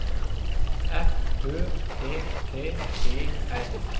F Ø T T E R